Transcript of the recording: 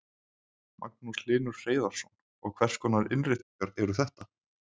Magnús Hlynur Hreiðarsson: Og hvers konar innréttingar eru þetta?